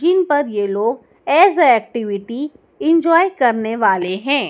Screen पर यह लोग एज ए एक्टिविटी इंजॉय करने वाले हैं।